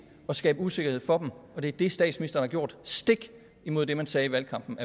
at skabe usikkerhed for dem og det er det statsministeren har gjort stik imod det man sagde i valgkampen